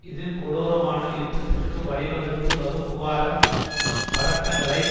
இது கொடூரமான யுத்தத்திற்கு வழிவகுத்து வகுப்புவாத பதட்டங்களை